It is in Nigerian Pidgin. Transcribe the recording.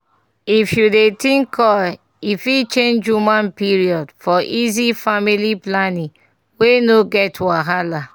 if you dey think coil e fit change woman period --for easy family planning wey no wey no get wahala. pause small